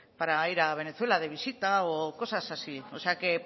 para ir a venezuela de visita o cosas así o sea que